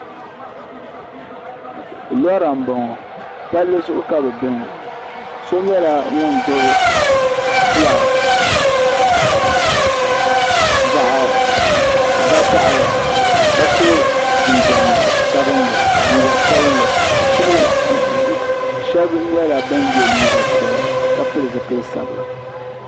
Lora m-bɔŋɔ palli zuɣu ka bɛ be ŋɔ so nyɛla ŋun gbubi fulaaki zaɣ'vakahili ka so jinjam sabinli liiga sabinli shɛba nyɛla ban ye liiga piɛla ka pili zipili sabila .